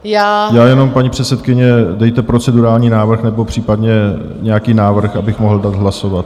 Já jenom, paní předsedkyně, dejte procedurální návrh nebo případně nějaký návrh, abych mohl dát hlasovat.